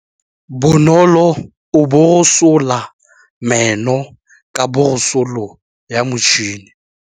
Bonolô o borosola meno ka borosolo ya motšhine.